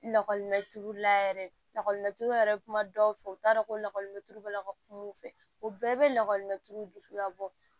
Lakɔlimɛturu la yɛrɛ lakɔlimɛturu yɛrɛ bɛ kuma dɔw fɛ u t'a dɔn ko lakɔli bɛla ka kuma u fɛ u bɛɛ bɛ lakɔlimɛ tulu dusu ka bɔ